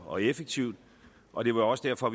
og effektivt og det var også derfor